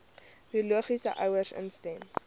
biologiese ouers instem